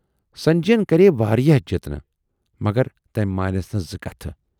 سنجے یَن کَریاے واریاہ جِتنہٕ مگر تمٔۍ مانٮ۪س نہٕ زٕ کتَھٕ۔